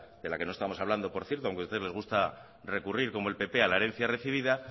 de la que no estamos hablando por cierto aunque a ustedes les gusta recurrir como al pp a la herencia recibida